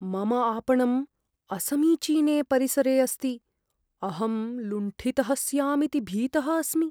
मम आपणं असमीचीने परिसरे अस्ति। अहं लुण्ठितः स्यामिति भीतः अस्मि।